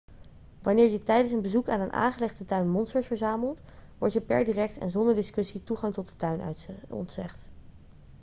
wanneer je tijdens een bezoek aan een aangelegde tuin monsters verzamelt wordt je per direct en zonder discussie toegang tot de tuin ontzegd